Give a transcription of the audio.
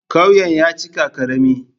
Ƙauyen ya cika ƙarami.